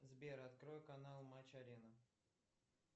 сбер открой канал матч арена